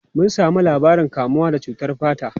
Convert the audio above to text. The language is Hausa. Mun samu labarin kamuwa da cutar fata.